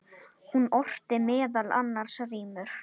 Hún orti meðal annars rímur.